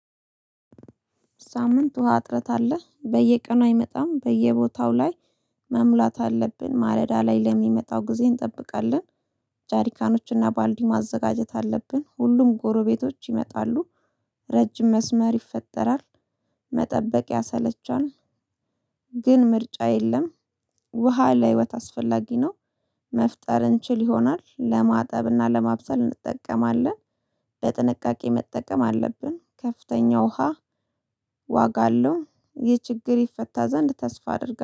ሳምንት ውሃ እጥረት አለ በየቀኑ አይመጣም በየቦታው ላይ። መሙላት አለብን ማለዳ ላይ ለሚመጣው ጊዜ እንጠብቃለን። ጃሪካኖችና ባልዲ ማዘጋጀት አለብን ሁሉም ጎረቤቶች ይመጣሉ። ረጅም መስመር ይፈጠራል። መጠበቅ ያሰለቻል። ግን ምርጫ የለም። ውሃ ለህይወት አስፈላጊ ነው። መፍጠር እንችል ይሆናል ለማጠብና ለማብሰል እንጠቀማለን። በጥንቃቄ መጠቀም አለብን። ከፍተኛ ውሃ ዋጋ አለው። ይህ ችግር ይፈታ ዘንድ ተስፋ አድርጋ